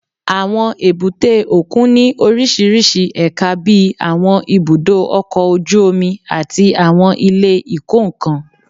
Àwọn èbúté òkun ní oríṣiríṣi ẹ̀ka bíi àwọn ibùdó ọkọ̀ ojú omi, àti àwọn ilé ìkó-nǹkan